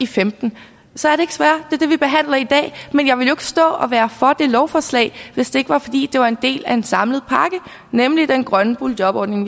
femten så er det ikke sværere det er det vi behandler i dag men jeg ville jo stå og være for det lovforslag hvis det ikke var fordi det var en del af en samlet pakke nemlig den grønne boligjobordning